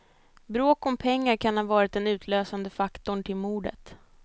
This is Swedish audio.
Bråk om pengar kan ha varit den utlösande faktorn till mordet.